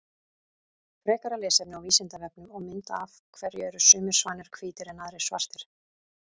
Frekara lesefni á Vísindavefnum og mynd Af hverju eru sumir svanir hvítir en aðrir svartir?